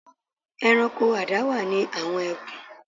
Ẹranko adáwà ni àwọn ẹkùn.